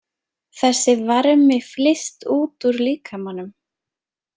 Þessi varmi flyst út úr líkamanum.